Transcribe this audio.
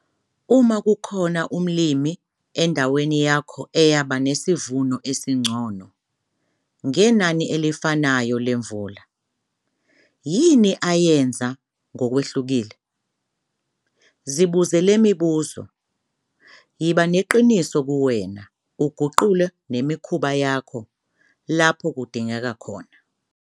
Uma kukhona umlimi endaweni yakho eyaba nesivuno esingcono, ngenani elifanayo lemvula, yini ayenze ngokwehlukile? Zibuze le mibuzo, yiba neqiniso kuwena uguqule nemikhuba yakho lapho kudingeka khona.